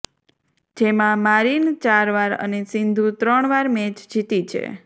જેમાં મારીન ચાર વાર અને સિંધુ ત્રણ વાર મેચ જીતી છે